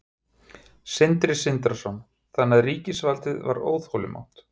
Sindri Sindrason: Þannig að ríkisvaldið var óþolinmótt?